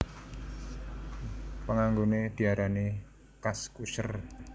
Panganggoné diarani Kaskuser